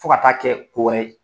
Fo ka taa kɛ kowɛrɛ ye.